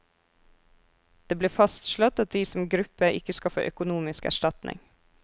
Det ble fastslått at de som gruppe ikke skal få økonomisk erstatning.